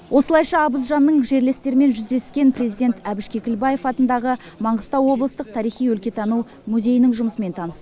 осылайша абыз жанның жерлестерімен жүздескен президент әбіш кекілбаев атындағы маңғыстау облыстық тарихи өлкетану музейінің жұмысымен танысты